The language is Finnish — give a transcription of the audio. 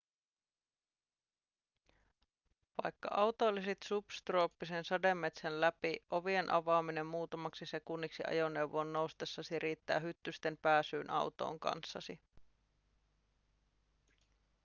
vaikka autoilisit subtrooppisen sademetsän läpi ovien avaaminen muutamaksi sekunniksi ajoneuvoon noustessasi riittää hyttysten pääsyyn autoon kanssasi